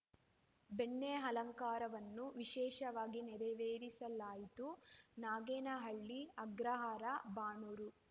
ಬೆಣ್ಣೆ ಅಲಂಕಾರವನ್ನು ವಿಶೇಷವಾಗಿ ನೆರವೇರಿಸಲಾಯಿತು ನಾಗೇನಹಳ್ಳಿ ಅಗ್ರಹಾರ ಬಾಣೂರು